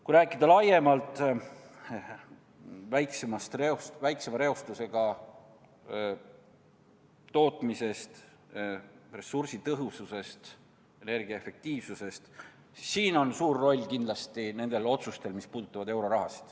Kui rääkida laiemalt väiksema reostusega tootmisest, ressursitõhususest, energiaefektiivsusest, siis siin on suur roll kindlasti nendel otsustel, mis puudutavad euroraha.